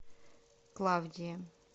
клавдии